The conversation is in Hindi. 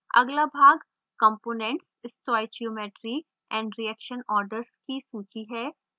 अगला भाग components stoichiometry and reaction orders की सूची है